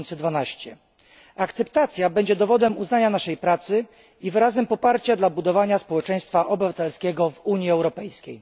2012. Akceptacja będzie dowodem uznania naszej pracy i wyrazem poparcia dla budowania społeczeństwa obywatelskiego w Unii Europejskiej.